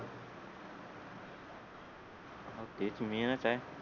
तेच main च आहे